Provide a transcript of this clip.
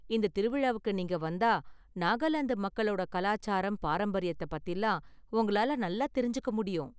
இந்த திருவிழாவுக்கு நீங்க வந்தா நாகாலாந்து மக்களோட கலாச்சாரம், பாரம்பரியத்த பத்திலாம் உங்களால நல்லா தெரிஞ்சுக்க முடியும்.